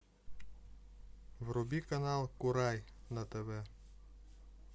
вруби канал курай на тв